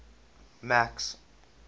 max